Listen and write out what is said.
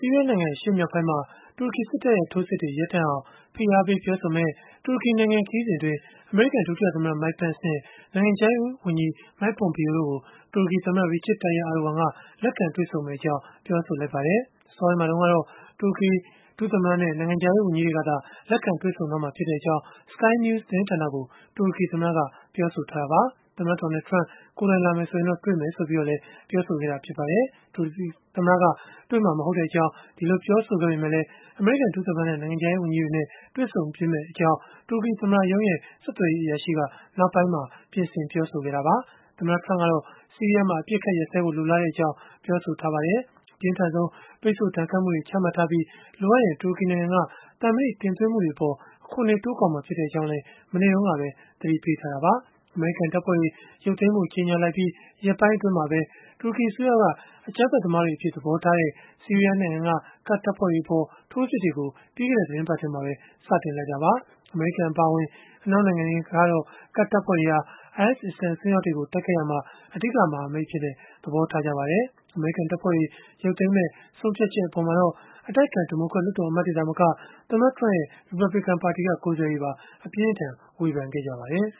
ီးယားနိုင်ငံ အရှေ့မြောက်ပိုင်းမှာ တူရကီစစ်တပ်ရဲ့ ထိုးစစ်တွေ ရပ်တန့်အောင် ဖိအားပေး ပြောဆိုမယ့် တူရကီနိုင်ငံ ခရီးစဉ်အတွင်း အမေရိကန် ဒုတိယသမ္မတ Mike Pence နဲ့ နိုင်ငံခြားရေးဝန်ကြီး Mike Pompeo တို့ကို တူရကီသမ္မတ Recep Tayyip Erdogan လက်ခံတွေ့ဆုံမှာ ဖြစ်ကြောင်း ပြောဆိုလိုက်ပါတယ်။ အစောပိုင်းမှာ တုန်းကတော့ တူရကီ ဒုသမ္မတနဲ့ နိုင်ငံခြားရေးဝန်ကြီးတွေကသာ လက်ခံတွေ့ဆုံမှာဖြစ်ကြောင်း Sky News သတင်းဌာနကို တူရကီသမ္မတက ပြောဆိုခဲ့တာပါ။ သမ္မတ Donald Trump ကိုယ်တိုင်လာမယ်ဆိုရင်တော့ တွေ့မယ်လို့လည်း ပြောခဲ့တာ ဖြစ်ပါတယ်။ တူရကီ သမ္မတက တွေ့မှာ မဟုတ်ကြောင်း ပြောခဲ့ပေမဲ့လည်း အမေရိကန် ဒုသမ္မတနဲ့ နိုင်ငံခြားရေး ဝန်ကြီးတွေနဲ့ တွေ့ဆုံမယ့်အကြောင်း တူရကီသမ္မတရုံး ဆက်သွယ်ရေးအရာရှိက ပြင်ဆင်ပြောဆိုခဲ့တာပါ။ သမ္မတ Trump ကတော့ ဆီးရီးယားမှာ အပစ်အခတ် ရပ်စဲဖို့ လိုလားကြောင်း ပြောဆိုထားပါတယ်။ အပြင်းထန်ဆုံး ပိတ်ဆို့ဒဏ်ခတ်မှုတွေ ချမှတ်ထားပြီး လိုအပ်ရင် တူရကီနိုင်ငံက သံမဏိတင်သွင်းမှုအပေါ် အခွန်တွေ တိုးကောက်မှာ ဖြစ်ကြောင်းလည်း မနေ့တုန်းကပဲ သတိပေးခဲ့တာပါ။ အမေရိကန် တပ်ဖွဲ့တွေ ရုပ်သိမ်းဖို့ ကြေညာလိုက်ပြီး ရက်ပိုင်း အတွင်းမှာပဲ တူရကီအစိုးရက အကြမ်းဖက် သမားတွေအဖြစ် သဘောထားတဲ့ ဆီးရီးယားနိုင်ငံက ကာဒ်တပ်ဖွဲ့တွေအပေါ် ထိုးစစ်တွေကို ပြီးခဲ့တဲ့ သီတင်းပတ်ထဲမှာပဲ စတင်လိုက်တာပါ။ အမေရိကန် အပါအဝင် အနောက်နိုင်ငံတွေကတော့ ကာဒ်တပ်ဖွဲ့တွေဟာ IS အစ္စလာမ် အစွန်းရောက်တွေကို တိုက်ခိုက်ရာမှာ အဓိက မဟာမိတ်အဖြစ် သဘောထားကြပါတယ်။ အမေရိကန် တပ်ဖွဲ့တွေ ရုပ်သိမ်းမယ့် ဆုံးဖြတ်ချက်အပေါ်မှာတော့ အတိုက်အခံ ဒီမိုကရက် လွှတ်တော်အမတ်တွေ သာမက သမ္မတရဲ့ ရီပတ်ဘလစ်ကန် ပါတီက ကိုယ်စားလှယ်တွေပါ အပြင်းအထန် ဝေဖန်ခဲ့ကြပါတယ်